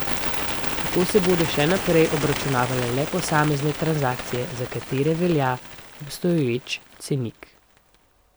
Tako se bodo še naprej obračunavale le posamezne transakcije, za katere velja obstoječi cenik.